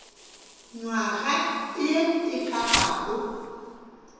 nywaga ye e ka bago